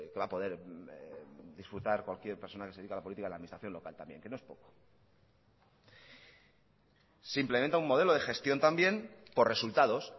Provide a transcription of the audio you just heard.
va a poder disfrutar cualquier persona que se dedica a la política en la administración local también que no es poco se implementa un modelo de gestión también por resultados